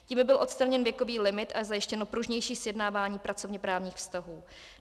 Tím by byl odstraněn věkový limit a zajištěno pružnější sjednávání pracovněprávních vztahů.